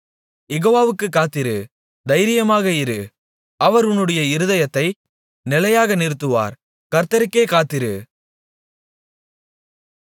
யெகோவாவுக்குக் காத்திரு தைரியமாக இரு அவர் உன்னுடைய இருதயத்தை நிலையாக நிறுத்துவார் கர்த்தருக்கே காத்திரு